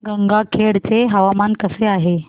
गंगाखेड चे हवामान कसे आहे